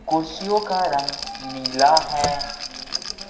कुर्सियों का रंग नीला है।